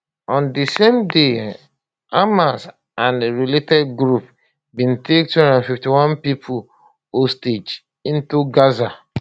on di same day hamasa and related group bin take 251 pipo hostage into gaza